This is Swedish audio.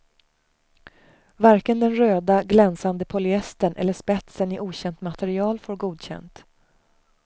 Varken den röda, glänsande polyestern eller spetsen i okänt material får godkänt.